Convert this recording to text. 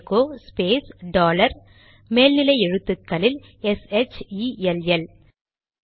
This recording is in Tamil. எகோ ஸ்பேஸ் டாலர் மேல் நிலை எழுத்துக்களில் எஸ்ஹெச்இஎல்எல் ஷெல்